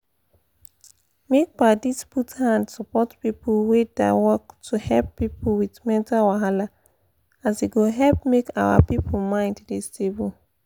make padis put hand support people wey da work to help people with mental wahala as e go help make our people mind da stable